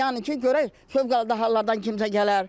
Yəni ki, görək fövqəladə hallardan kimsə gələr.